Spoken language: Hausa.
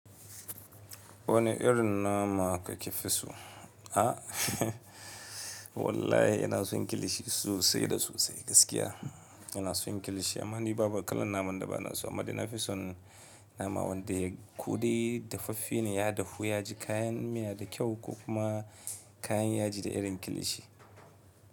Wane irin nama ka ke fi so? A wallahi ina son kilishi sosai da sosai gaskiya ina son kilishi. Amma ni babu kalan naman da ba na so amma da na fi son nama wanda ya kudai dafaffe ne, ya dafu, ya ji kayan miya da kyau ko kuma kayan yaji da irin kilishi.